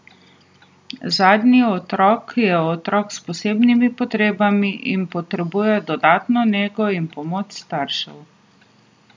Zadnji otrok je otrok s posebnimi potrebami in potrebuje dodatno nego in pomoč staršev.